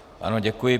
Ano, děkuji.